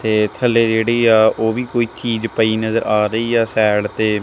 ਤੇ ਥੱਲੇ ਜਿਹੜੀ ਆ ਓਹ ਵੀ ਕੋਈ ਚੀਜ ਪਈ ਨਜ਼ਰ ਆ ਰਹੀ ਆ ਸਾਈਡ ਤੇ।